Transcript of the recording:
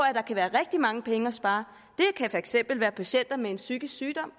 at der kan være rigtig mange penge at spare det kan for eksempel være patienter med en psykisk sygdom